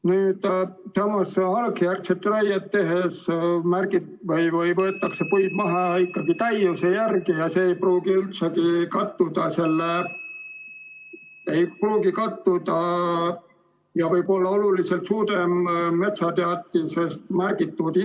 Harvendusjärgset raiet tehes võetakse puid maha ikkagi täiuse järgi, see ei pruugi üldse kattuda metsateatises märgitud hinnangulise raiemahuga ja võib olla sellest oluliselt suurem.